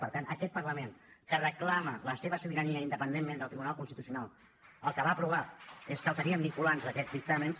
per tant aquest parlament que reclama la seva sobirania independentment del tribunal constitucional el que va aprovar és que serien vinculants aquests dictàmens